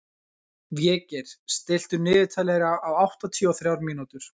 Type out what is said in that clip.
Végeir, stilltu niðurteljara á áttatíu og þrjár mínútur.